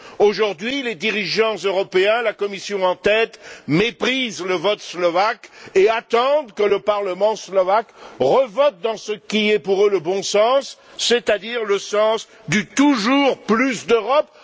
Aujourd'hui, les dirigeants européens, la Commission en tête, méprisent le vote slovaque et attendent que le parlement slovaque revote dans ce qui est pour eux, le bon sens, c'est à dire le sens du toujours plus d'Europe.